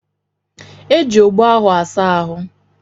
Eji ogbo ahụ asa ahụ.